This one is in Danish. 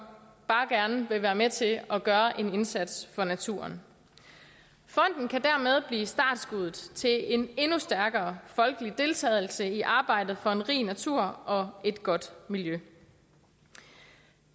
bare gerne vil være med til at gøre en indsats for naturen fonden kan dermed blive startskuddet til en endnu stærkere folkelig deltagelse i arbejdet for en rig natur og et godt miljø